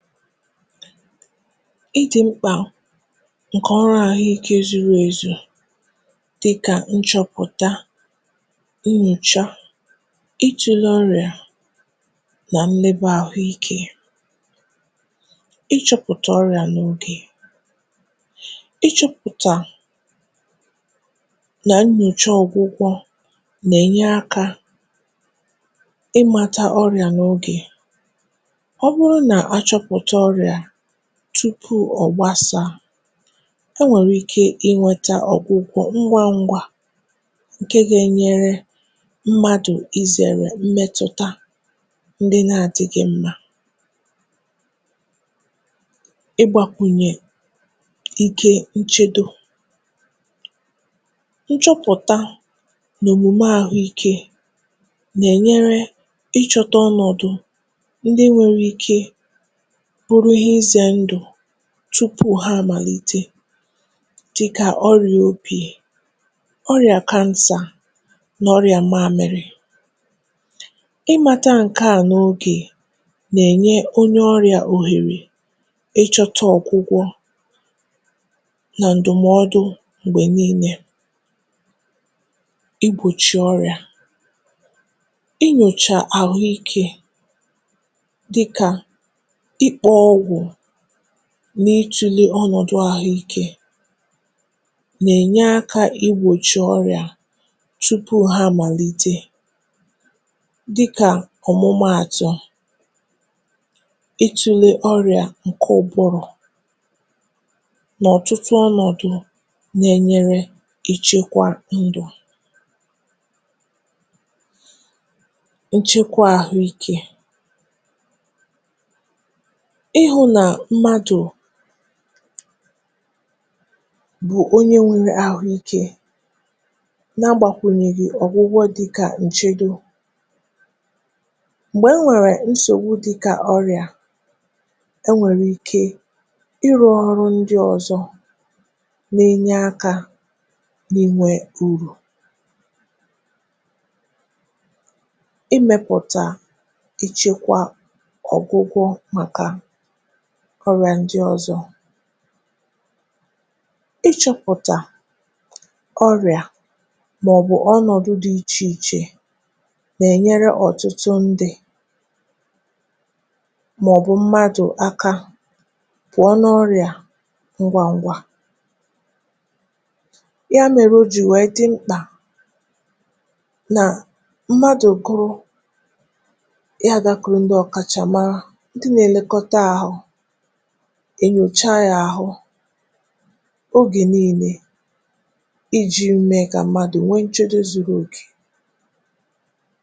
Idị̀ mkpà ǹkè ọrụ àhụike zụrụ ezù dịkà nchọpụta, nyocha, ịtụ̀le ọrịà nà meeba àhụike. Ichọ̇pụ̀tà ọrịà n’ogè, ịchọ̇pụ̀tà nà nnyòchȧ ọgwụgwọ nà-ènye akȧ ị màta ọrịà n’ogè, ọ́bụrụ na achọpụta ọrịa tupu ọ̀gbasà e nwèrè ike inwėtȧ ọ̀gwụ̀gwọ̀ ngwa ngwa ǹke gà-enyere mmadụ̀ izèrè mmetụ̀ta ndị na-adị̇ghị̇ mmȧ. Igbàkwùnyè ike nchedo, nchọpụ̀ta n’òmùme àhụ ikė nà-ènyere ịchọ̇tȧ ọnọ̀dụ̀ ndị nwere ike bụrụ ihe ize ndụ tupu ha àmàlite dịkà ọrịà obi̇, ọrịà kansa nà ọrịà mamịrị̇. Imȧtȧ ǹkè a n’ogè nà-ènye onye ọrịà ohèrè ịchọta ọgwụgwọ nà ǹdụ̀mọdụ m̀gbè niile, i gbochie ọrịà i nyòchà àhụikė dịka ikpogwu n’ịtụ̇lė ọnọ̀dụ̀ ahụ̇ike nà-ènye aka igbòchi ọrị̀à tupu ha màlite. dịkà ọ̀mụmaàtụ̀, ịtụ̇lė ọrị̀à ǹkẹ̀ ụkpụrụ nà ọ̀tụtụ ọnọ̀dụ̀ na-enyere ichekwa ǹdụ̀, nchekwa ahụike, ihu nà mmadù bù onye nwėrė àhụikė nà-agbàkwùnyèghì ọ̀gwụgwọ dịkà ǹchedo, m̀gbè e nwèrè nsògbu dịkà ọrịà, e nwèrè ike ịrụ̇ ọrụ ndị ọ̀zọ nȧ enye akȧ n’inwė urù. imėpụ̀tà ịchekwa ọ̀gwụgwọ màkà ọrịà ndị ọzọ̇. Ichọ̇pụ̀tà ọrịà màọ̀bụ̀ ọnọ̀dụ̀ dị ichèichè nà-ènyere ọ̀tụtụ ndị̇ màọ̀bụ̀ mmadụ̀ akȧ pụ̀ọ n’ọrịà ngwà ngwà. ya mere o jì nwèe dị mkpà nà mmadụ̀ kụrụ̇ ya gàkụrụ̀ ndị ọ̀kàchàma ndị na-eleta ahụ, e nyochaa yȧ ahụ oge niile iji̇ m̀me kà mmadụ̀ nwee ǹchedo zuru okè.